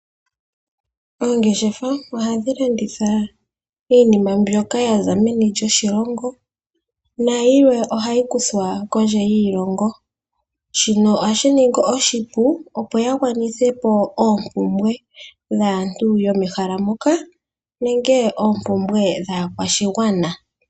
Oongeshefa ohashi landitha iinima mbyoka yaza meni lyoshilongo, nayilwe ohayi kuthwa kondje yiilongo. Shino ohashi ningi oshipu opo ya gwanithe po oompumbwe dhaantu yomehala moka nenge oompumbwe dhaakwashigwana.